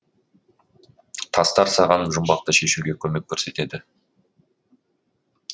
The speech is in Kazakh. тастар саған жұмбақты шешуге көмек көрсетеді